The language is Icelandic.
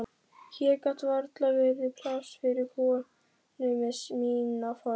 Hér gat varla verið pláss fyrir konu með mína fortíð.